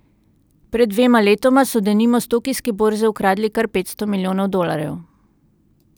Pred dvema letoma so denimo s tokijske borze ukradli kar petsto milijonov dolarjev.